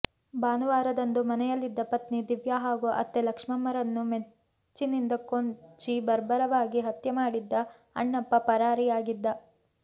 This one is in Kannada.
ಭಾನುವಾರದಂದು ಮನೆಯಲ್ಲಿದ್ದ ಪತ್ನಿ ದಿವ್ಯಾ ಹಾಗೂ ಅತ್ತೆ ಲಕ್ಷ್ಮಮ್ಮರನ್ನು ಮಚ್ಚಿನಿಂದ ಕೊಚ್ಚಿ ಬರ್ಬರವಾಗಿ ಹತ್ಯೆ ಮಾಡಿದ್ದ ಅಣ್ಣಪ್ಪ ಪರಾರಿಯಾಗಿದ್ದ